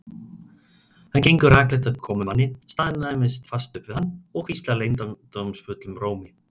Hann gengur rakleitt að komumanni, staðnæmist fast upp við hann og hvíslar leyndardómsfullum rómi